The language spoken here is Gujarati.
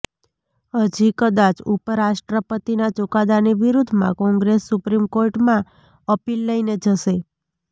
હજી કદાચ ઉપરાષ્ટ્રપતિના ચુકાદાની વિરુદ્ધમાં કોંગ્રેસ સુપ્રીમ કોર્ટમાં અપીલ લઈને જશે